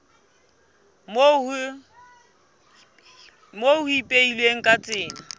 moo ho ipehilweng ka tsela